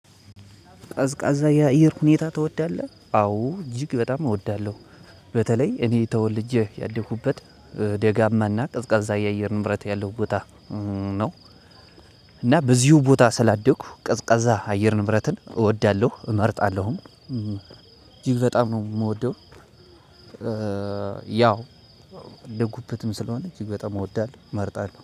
ቀዝቃዛ ያየር ሁኔታ ትወዳለህ? አዎ እጅግ በጣም እወዳለሁ በተለይ እኔ ተወልጄ ያደኩበት ደጋማና ቅዝቃዛ የአየር ንብረት ያለው ቦታ ነው። እና በዚሁ ቦታ ስላደኩ ቀዝቃዛ አየር ንብረትን እወዳለሁ እመርጣለሁም እጅግ በጣም ነው እምወደው። ያው ያደኩበትም ስለሆነ እጅግ በጣም እወዳለሁ እመርጣለሁ